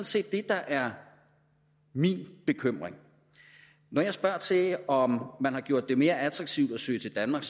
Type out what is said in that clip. set det der er min bekymring når jeg spørger til om man har gjort det mere attraktivt at søge til danmark